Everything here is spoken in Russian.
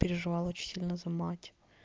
переживала очень сильно за мать